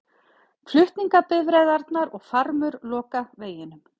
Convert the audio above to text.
Flutningabifreiðarnar og farmur loka veginum